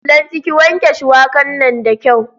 Lanti, ki wanke shuwaka nan da kyau.